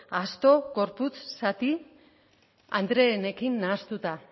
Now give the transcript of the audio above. asto gorputz zati andreenekin nahastuta